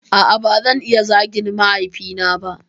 A'a bazan iya zagin mahaifi na ba